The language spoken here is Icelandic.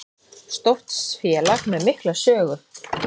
Stórt félag með mikla sögu